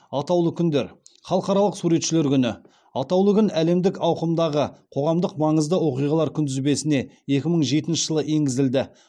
атаулы күндер халықаралық суретшілер күні атаулы күн әлемдік ауқымдағы қоғамдық маңызды оқиғалар күнтізбесіне екі мың жетінші жылы енгізілді